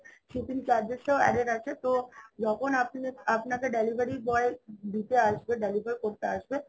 shipping charges ও added আছে তো যখন আপনি আপনাকে delivery boy দিতে আসবে, deliver করতে আসবে